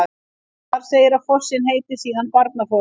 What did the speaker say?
Þar segir að fossinn heiti síðan Barnafoss.